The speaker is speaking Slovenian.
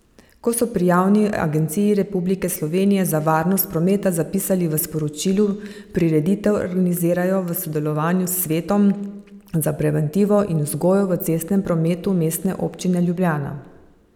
Kot so pri Javni agenciji Republike Slovenije za varnost prometa zapisali v sporočilu, prireditev organizirajo v sodelovanju s Svetom za preventivo in vzgojo v cestnem prometu Mestne občine Ljubljana.